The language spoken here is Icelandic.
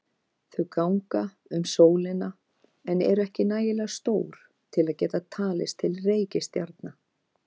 Þau ganga um sólina en eru ekki nægilega stór til að geta talist til reikistjarna.